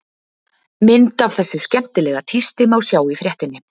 Mynd af þessu skemmtilega tísti má sjá í fréttinni.